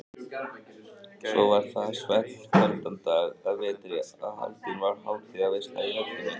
Svo var það einn svellkaldan dag að vetri að haldin var hátíðarveisla í höllinni.